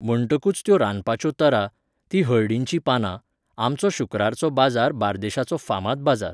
म्हणटकूच त्यो रांदपाच्यो तरा, तीं हळडीचीं पानां, आमचो शुक्रारचो बाजार बार्देशाचो फामाद बाजार